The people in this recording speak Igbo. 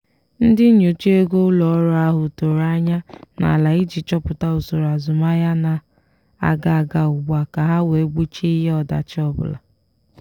ndị nyocha ego ụlọ ọrụ ahụ tọrọ anya n'ala iji chọpụta usoro azụmahịa na-aga aga ugbua ka ha wee gbochie ihe ọdachi ọbụla.